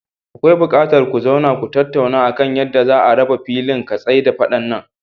Akwai buƙatar ku zauna ku tattauna akan yadda za'a raba filin ka tsai da faɗan nan.